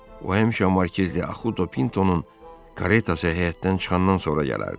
O həmişə Markiz de Açudo Pintonun karetası həyətdən çıxandan sonra gələrdi.